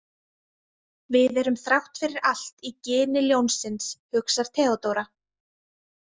Við erum þrátt fyrir allt í gini ljónsins, hugsar Theodóra.